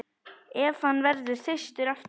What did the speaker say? Ef hann verður þyrstur aftur.